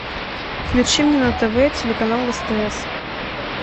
включи мне на тв телеканал стс